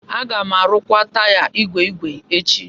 Aga m arụkwa taya ígwè ígwè echi.